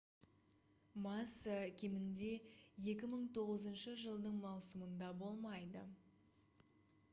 масса кемінде 2009 жылдың маусымында болмайды